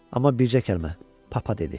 Amma bircə kəlmə: "Papa" dedi.